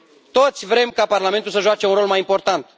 Toți vrem ca Parlamentul să joace un rol mai important.